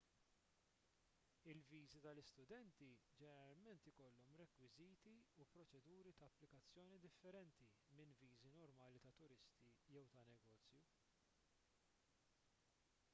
il-viżi tal-istudenti ġeneralment ikollhom rekwiżiti u proċeduri ta' applikazzjoni differenti minn viżi normali ta' turisti jew ta' negozju